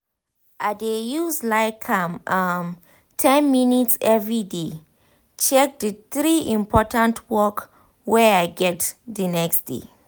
i dey use like um ten minutes everyday dey check d three important work wey i get d next day